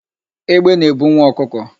Egbe na-ebu nwa ọkụkọ.